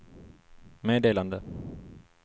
meddelande